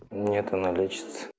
нет она лечится